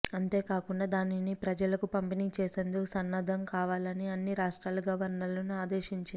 అంతేకాకుండా దానిని ప్రజలకు పంపిణీ చేసేందుకు సన్నద్ధం కావాలని అన్ని రాష్ట్రాల గవర్నర్లను ఆదేశించింది